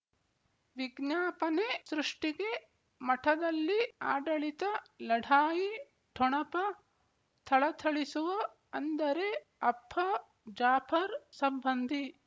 ವಿಜ್ಞಾಪನೆ ಸೃಷ್ಟಿಗೆ ಮಠದಲ್ಲಿ ಆಡಳಿತ ಲಢಾಯಿ ಠೊಣಪ ಥಳಥಳಿಸುವ ಅಂದರೆ ಅಪ್ಪ ಜಾಫರ್ ಸಂಬಂಧಿ